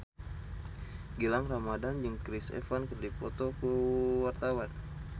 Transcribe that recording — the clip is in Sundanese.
Gilang Ramadan jeung Chris Evans keur dipoto ku wartawan